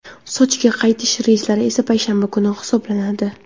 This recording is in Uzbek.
Sochiga qaytish reyslari esa payshanba kuni hisoblanadi.